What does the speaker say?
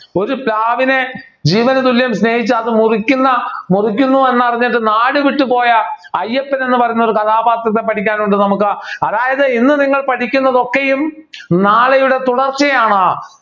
ഒരു പ്രാവിനെ ജീവനുതുല്യം സ്നേഹിച്ച അതും മുറിക്കുന്ന മുറിക്കുന്നു എന്ന് അറിഞ്ഞിട്ട് നാടുവിട്ടുപോയ അയ്യപ്പൻ എന്ന് പറയുന്ന ഒരു കഥാപാത്രത്തെ പഠിക്കാനുണ്ട് നമുക്ക് അതായത് ഇന്ന് നിങ്ങൾ പഠിക്കുന്നത് ഒക്കെയും നാളെയുടെ തുടർച്ചയാണ്